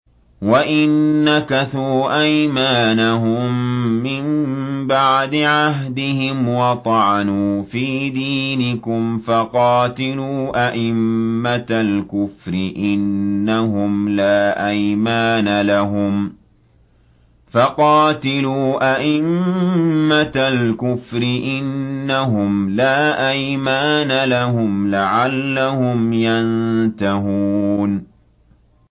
وَإِن نَّكَثُوا أَيْمَانَهُم مِّن بَعْدِ عَهْدِهِمْ وَطَعَنُوا فِي دِينِكُمْ فَقَاتِلُوا أَئِمَّةَ الْكُفْرِ ۙ إِنَّهُمْ لَا أَيْمَانَ لَهُمْ لَعَلَّهُمْ يَنتَهُونَ